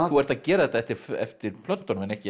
þú ert að gera þetta eftir eftir plöntunum en ekki